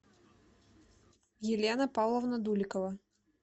елена павловна дуликова